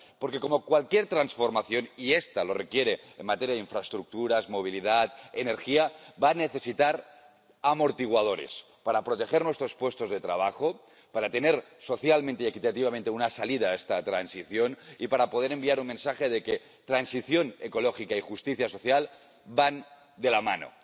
Porque, como cualquier transformación ⸻y esta lo requiere en materia de infraestructuras, movilidad y energía⸻ va a necesitar amortiguadores para proteger nuestros puestos de trabajo, para tener socialmente y equitativamente una salida a esta transición y para poder enviar un mensaje de que transición ecológica y justicia social van de la mano.